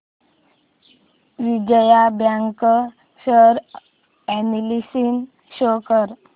Vijaya bank share analysis show कर